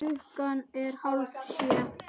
Sagði að þetta mundi gerast.